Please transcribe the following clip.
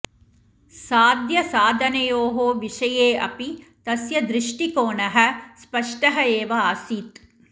साध्यसाधनयोः विषये अपि तस्य दृष्टिकोणः स्पष्टः एव आसीत्